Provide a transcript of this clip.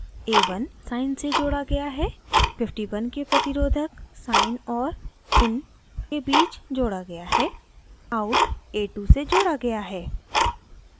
a1 sine से जोड़ा गया है